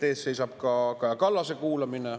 Ees seisab ka Kaja Kallase kuulamine.